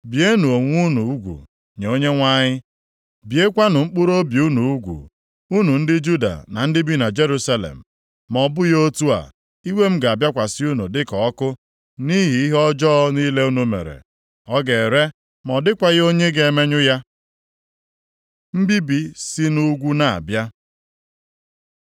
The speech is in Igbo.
Bienụ onwe unu ugwu nye Onyenwe anyị, biekwanụ mkpụrụobi unu ugwu, unu ndị Juda na ndị bi na Jerusalem ma ọ bụghị otu a, iwe m ga-abịakwasị unu dịka ọkụ, nʼihi ihe ọjọọ niile unu mere, ọ ga-ere ma ọ dịkwaghị onye ga-emenyụ ya. Mbibi si nʼugwu na-abịa